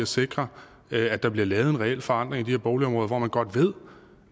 sikre at der bliver lavet en reel forandring i de her boligområder hvor man godt ved